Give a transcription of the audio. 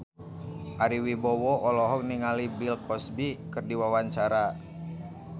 Ari Wibowo olohok ningali Bill Cosby keur diwawancara